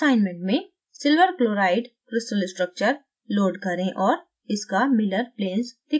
assignment में